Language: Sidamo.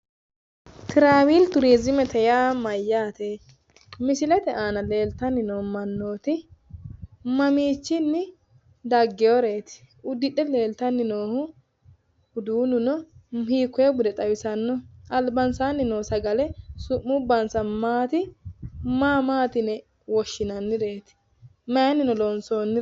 Tiraavili turiiziimete ya mayyaate? Misilete aana leellanni noo mannooti mamiichinni daggiworeeti? Uddidhe leeltanni noohu uduunnuno hiikoye bude xawisannoho? Albansaanni noo sagale su'mubbansa maati? Maa maa yine woshshinannireeti? Mayinnino loonsoonniho?